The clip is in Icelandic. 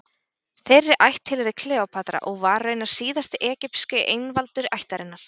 Þeirri ætt tilheyrði Kleópatra og var raunar síðasti egypski einvaldur ættarinnar.